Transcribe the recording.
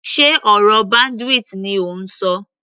Sé ọ̀rọ̀ bandwidth ni ò ń ṣọ.